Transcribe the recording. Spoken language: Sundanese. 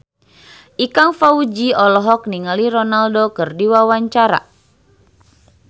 Ikang Fawzi olohok ningali Ronaldo keur diwawancara